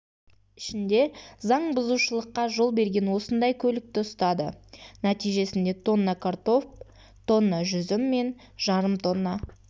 ішінде заңбұзушылыққа жол берген осындай көлікті ұстады нәтижесінде тонна картоп тонна жүзім мен жарым тонна